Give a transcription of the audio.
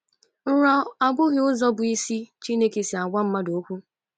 Nrọ abụghị ụzọ bụ́ isi Chineke si agwa mmadụ okwu.